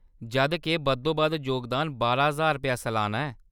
जद के, बद्धोबद्ध जोगदान बारां ज्हार रुपेऽ सलाना ऐ।